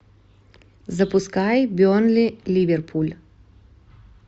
запускай бернли ливерпуль